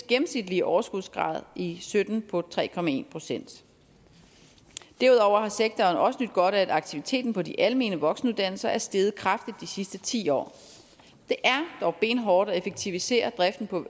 gennemsnitlige overskudsgrad i sytten på tre procent derudover har sektoren også nydt godt af at aktiviteten på de almene voksenuddannelser er steget kraftigt de sidste ti år det er dog benhårdt at effektivisere driften på